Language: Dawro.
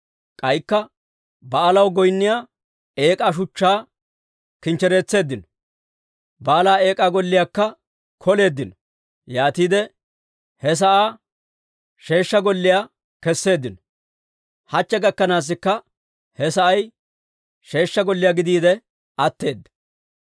K'aykka Ba'aalaw goynniyaa eek'aa shuchchaa kinchchereetseeddino; Ba'aala eek'aa golliyaakka koleeddino. Yaatiide he sa'aa sheeshsha golliyaa kesseeddino; hachche gakkanaasikka he sa'ay sheeshsha golliyaa gidiide atteedda.